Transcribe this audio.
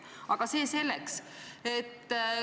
Aga see selleks.